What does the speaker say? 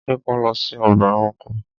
Jẹ́ ká lọ sí ọgbà ẹranko!